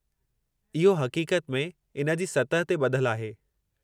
इहो हक़ीक़त में इन जी सतह ते ॿधलु आहे।